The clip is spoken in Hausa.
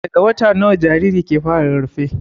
Daga wata nawa jarirai ke fara rarrafe?